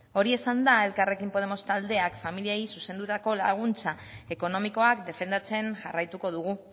hori esanda elkarrekin podemos taldeak familiei zuzendutako laguntza ekonomikoak defendatzen jarraituko dugu